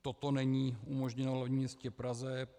Toto není umožněno v hlavním městě Praze.